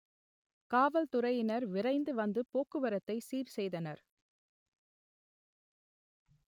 காவல்துறையினர் விரைந்து வந்து போக்குவரத்தை சீர் செய்தனர்